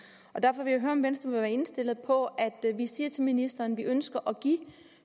og derfor vil jeg høre om venstre vil være indstillet på at vi siger til ministeren at vi ønsker at give